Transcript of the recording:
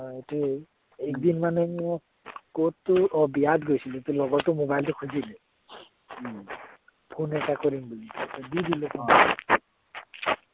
অ সেইটোৱে একদিন মানে মই কত বিয়াত গৈছিললো মোৰ লগৰটোৱে mobile টো খুজিলে phone এটা কৰিম বুলি দি দিলো